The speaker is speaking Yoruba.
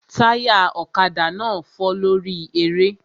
Táyà ọ̀kadà náà fọ́ lórí eré